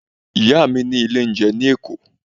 Ìyá mi ní ilé oúnjẹ ní Èkó.